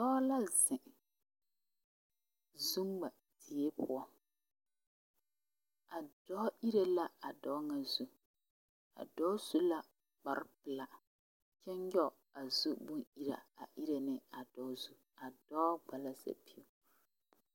Dɔɔ la zeŋ zuŋmadie poɔ a dɔɔ iri la a dɔɔ ŋa zu a dɔɔ su la kpare pelaa kyɛ nyɔge a zuboŋ iraa a iri ne a dɔɔ zu a dɔɔ gba sapili.